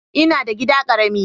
Ina da gida karamin.